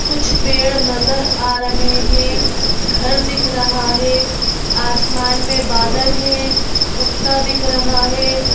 कुछ पेड़ नजर आ रहे हैं घर दिख रहा है आसमान में बादल है कुत्ता दिख रहा है।